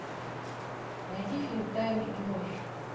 найди фильм тайны и ложь